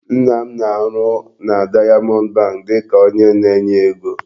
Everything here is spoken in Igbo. Nna m na-arụ na Diamond bank dịka onye nye ego.